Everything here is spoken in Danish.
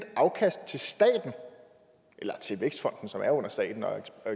afkast til staten eller til vækstfonden som er under staten